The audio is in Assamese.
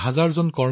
ধন্যবাদ মহোদয়